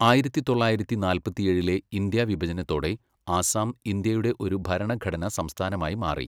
ആയിരത്തി തൊള്ളായിരത്തി നാല്പത്തിയേഴിലെ ഇന്ത്യാ വിഭജനത്തോടെ ആസാം ഇന്ത്യയുടെ ഒരു ഭരണഘടനാ സംസ്ഥാനമായി മാറി.